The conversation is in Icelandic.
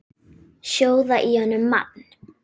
Sjóða í honum mann!